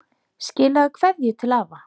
Skilaðu kveðju til afa.